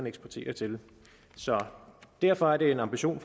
eksporterer til derfor er det en ambition